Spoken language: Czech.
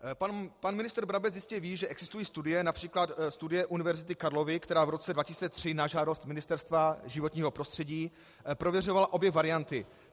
Pan ministr Brabec jistě ví, že existují studie, například studie Univerzity Karlovy, která v roce 2003 na žádost Ministerstva životního prostředí prověřovala obě varianty.